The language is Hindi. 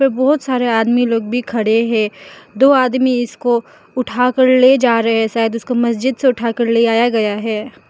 बहोत सारे आदमी लोग भी खड़े है दो आदमी इसको उठा कर ले जा रहें शायद इसको मस्जिद से उठाकर ले आया गया है।